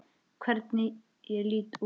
Hvernig ég lít út!